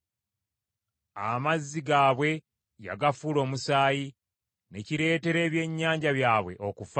Amazzi gaabwe yagafuula omusaayi, ne kireetera ebyennyanja byabwe okufa.